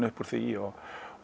upp úr því og